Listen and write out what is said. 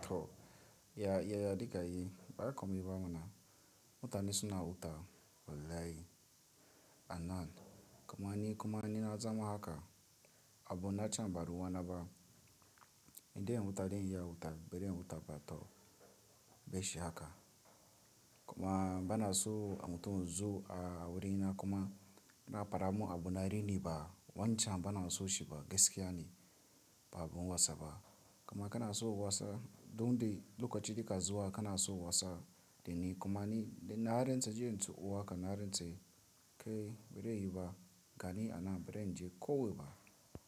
to ya diga yi ba ra komi ba mana mutane suna wuta walai anaal. Kuma ni kuma ni na zama haka abu na can baruwa na ba inda in wuta dai in yi a wuta, bere in wuta ba to be shi haka. Kuma bana so a wuta wuzu a wurina kuma na fara mu abu na rini ba wancan bana so shi ba gaskiya ne ba abun wasa ba. Kuma kana so wasa don dai lokaci da ka zuwa kana so wasa dai ni kuma ni dai na harin saji yanzu uwa ka na harin tsai kai bere yi ba gani ana bere in je kowe ba.